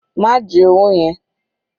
Ma ji owó yẹn.